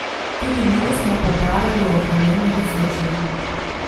Tudi njo smo pobarali o vremenu v Sočiju.